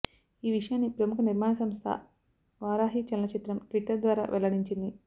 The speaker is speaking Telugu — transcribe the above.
ఈ విషయాన్ని ప్రముఖ నిర్మాణ సంస్థ వారాహి చలనచిత్రం ట్విట్టర్ ద్వారా వెల్లడించింది